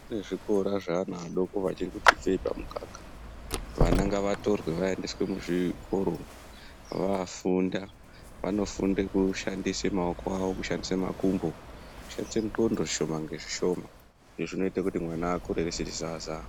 Kune zvikora zveana adoko achiri kungobve pamukaka. Vana ngavatorwe vaendeswe muzvikoro vanofunde kushandisa maoko awo, kushandise makumbo nekushandise ndxondo zvishoma nezvishoma. Izvi zvinoite kuti mwana asakure asiri zaza .